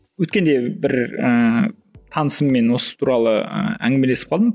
өткенде бір ііі танысыммен осы туралы ііі әңгімелесіп қалдым